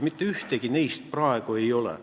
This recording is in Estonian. Mitte ühtegi neist praegu enam ei ole.